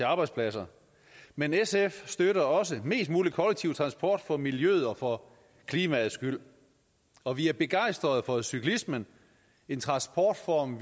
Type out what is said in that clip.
arbejdspladser men sf støtter også mest mulig kollektiv transport for miljøets og for klimaets skyld og vi er begejstrede for cyklismen en transportform